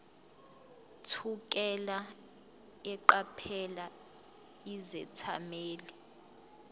thukela eqaphela izethameli